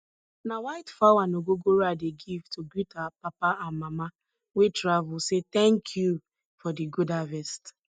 na white fowl and ogogoro i dey give to greet our papa and mama wey travel say thank you for di good harvest